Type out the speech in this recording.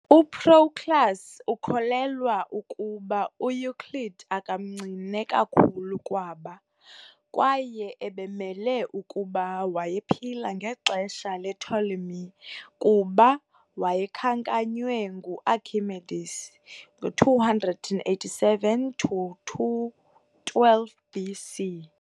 UProclus ukholelwa ukuba uEuclid akamncine kakhulu kwaba, kwaye ubemelwe kukuba wayephila ngexesha lePtolemy I kuba wayekhankanywe nguArchimedes ngo287 to 212 BC.